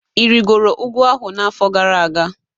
Ị rịgoro ugwu ahụ n'afọ gara aga?